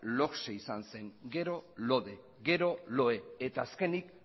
logse izan zen gero lode gero lohe eta azkenik